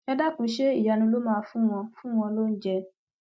ẹ dákun ṣe ìyanu ló máa fún wọn fún wọn lóúnjẹ